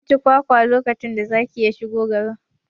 An ci kwakwa lokacin da zaki ya shigo gari